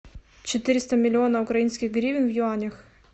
четыреста миллионов украинских гривен в юанях